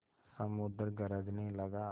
समुद्र गरजने लगा